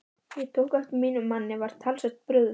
Ég tók eftir að mínum manni var talsvert brugðið.